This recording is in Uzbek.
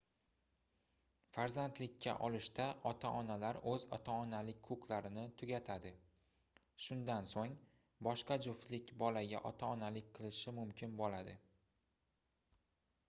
farzandlikka olishda ota-onalar oʻz ota-onalik huquqlarini tugatadi shundan soʻng boshqa juftlik bolaga ota-onalik qilishi mumkin boʻladi